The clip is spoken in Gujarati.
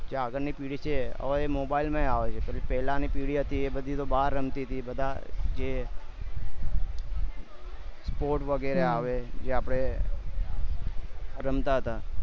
કે આગળ ની પેઢી છે હવે એ mobile માં આવે છે કે પેહલા ની પેઢી હતીએ બાર રમતી હતી બધા જે sports વેગેરે આવે જે આપણે રમતા તા